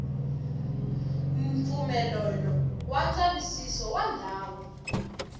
mpfumelelo wa ndzavisiso wa ndhawu